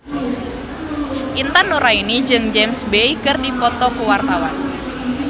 Intan Nuraini jeung James Bay keur dipoto ku wartawan